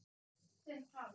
Hver er klár?